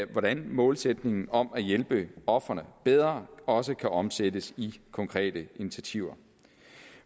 hvordan målsætningen om at hjælpe ofrene bedre også kan omsættes i konkrete initiativer